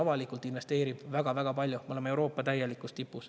Ja Eesti investeerib avalikult väga-väga palju, me oleme Euroopa täielikus tipus.